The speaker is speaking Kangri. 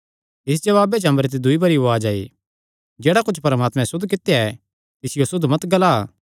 इस जवाबे च अम्बरे ते दूई बरी उआज़ आई जेह्ड़ा कुच्छ परमात्मैं सुद्ध करी दित्या ऐ तिसियो असुद्ध मत ग्ला